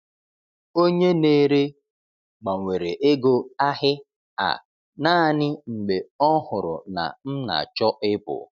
Onye na-ere gbanwere ego ahị a naanị mgbe ọ hụrụ na m na-achọ ịpụ.